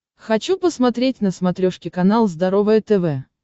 хочу посмотреть на смотрешке канал здоровое тв